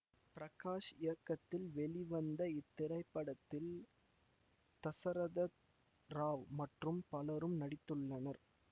பிரகாஷ் இயக்கத்தில் வெளிவந்த இத்திரைப்படத்தில் தசரத ராவ் மற்றும் பலரும் நடித்துள்ளனர்